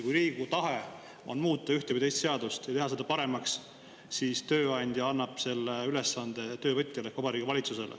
Kui Riigikogu tahe on muuta ühte või teist seadust, et seda paremaks teha, siis tööandja annab selle ülesande töövõtjale ehk Vabariigi Valitsusele.